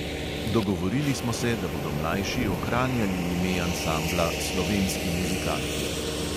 Dogovorili smo se, da bodo mlajši ohranjali ime ansambla slovenski muzikantje.